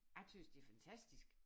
Jeg tøs det fantastisk